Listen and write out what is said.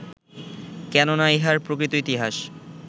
কেন না ইহার প্রকৃত ইতিহাস